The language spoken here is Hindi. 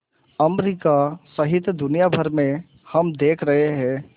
अमरिका सहित दुनिया भर में हम देख रहे हैं